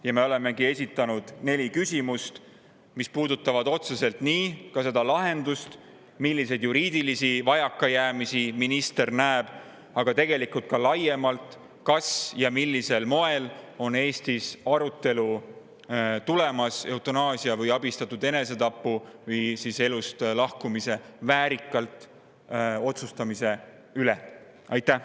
Ja me olemegi esitanud neli küsimust, mis puudutavad otseselt nii seda lahendust, milliseid juriidilisi vajakajäämisi minister näeb, aga tegelikult ka laiemalt, kas ja millisel moel on Eestis arutelu tulemas eutanaasia või abistatud enesetapu või väärikalt elust lahkumise otsustamise üle?